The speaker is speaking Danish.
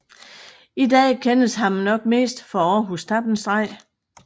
I dag kendes ham nok mest for Århus Tappenstreg